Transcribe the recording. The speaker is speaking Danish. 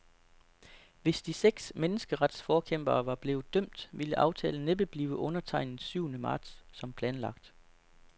Hvis de seks menneskeretsforkæmpere var blevet dømt, ville aftalen næppe blive undertegnet syvende marts som planlagt.